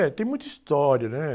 É, tem muita história, né?